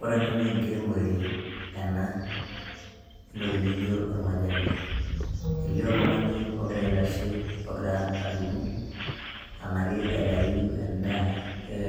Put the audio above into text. Ore ena naa enkiremore entoki nijo ormajani. Elio oltungani logira aitashe logira adungu anake aitayu endaa,